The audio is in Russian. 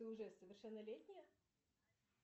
ты уже совершеннолетняя